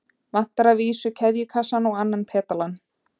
Vantar að vísu keðjukassann og annan pedalann.